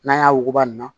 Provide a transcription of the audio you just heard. N'an y'a wuguba nunnu na